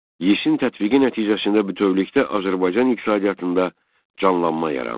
Yisin tətbiqi nəticəsində bütövlükdə Azərbaycan iqtisadiyyatında canlanma yarandı.